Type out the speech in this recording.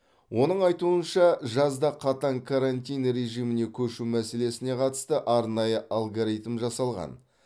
оның айтуынша жазда қатаң карантин режиміне көшу мәселесіне қатысты арнайы алгоритм жасалған